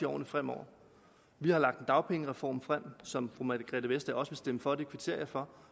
årene fremover vi har lagt en dagpengereform frem som fru margrethe vestager også vil stemme for det kvitterer jeg for